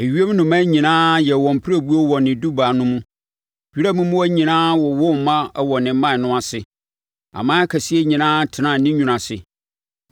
Ewiem nnomaa nyinaa yɛɛ wɔn pirebuo wɔ ne dubaa no mu, wiram mmoa nyinaa wowoo mma wɔ ne mman no ase aman akɛseɛ nyinaa tenaa ne nwunu ase.